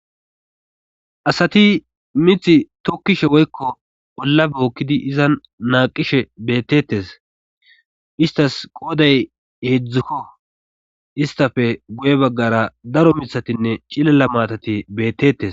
asati mith tokkishe woykko ollabe ookkidi izan naaqishe beettetes istas qooday heedzdzukko istafe guye baggara daro mitatinne cilela maatati beettetes